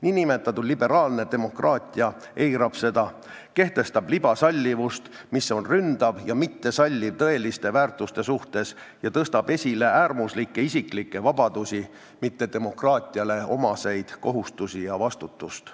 Niinimetatud liberaalne demokraatia eirab seda, ta kehtestab libasallivust, mis on ründav ja mittesalliv tõeliste väärtuste suhtes, ja tõstab esile äärmuslikke isiklikke vabadusi, mitte demokraatiale omaseid kohustusi ja vastutust.